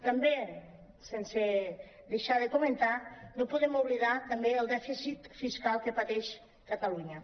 també sense deixar·ho de comentar no podem oblidar el dèficit fiscal que pa·teix catalunya